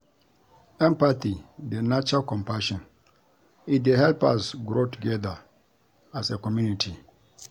Empathy dey nurture compassion; e dey help us grow together as a community.